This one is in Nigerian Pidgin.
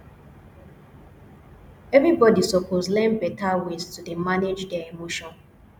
everybodi suppose learn beta ways to dey manage their emotion